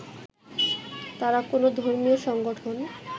তারা কোনো ধর্মীয় সংগঠন